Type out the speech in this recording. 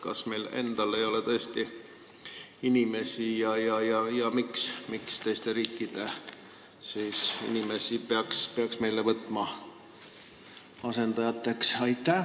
Kas meil endal ei ole tõesti inimesi ja miks peaks teiste riikide inimesi võtma meile asendajateks?